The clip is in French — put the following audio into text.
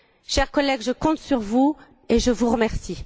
Chers collègues, je compte sur vous et je vous remercie.